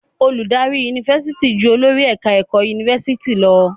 Olùdarí Yunifásitì jù olórí ẹ̀ka ẹ̀kọ́ Yunifásitì lọ.